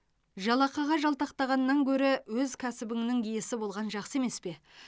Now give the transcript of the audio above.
жалақыға жалтақтағаннан гөрі өз кәсібінің иесі болған жақсы емес пе